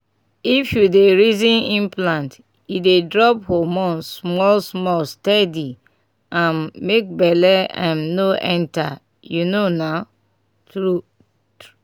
if you dey reason implant e dey drop hormone small-small steady um — make belle um no enter. you know na? true tr